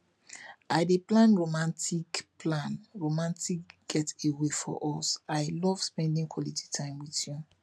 i dey plan romantic plan romantic getaway for us i love spending quality time with you